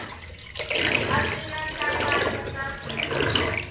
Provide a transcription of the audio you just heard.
a swi na nhlangano na